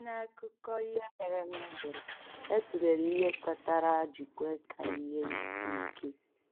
Site n’akụkọ ihe mere eme edere, e tụlere ihe kpatara a ji kwe ka ihe isi ike.